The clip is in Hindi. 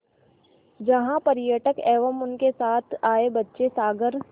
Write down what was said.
जहाँ पर्यटक एवं उनके साथ आए बच्चे सागर